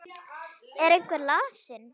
Er einhver lasinn?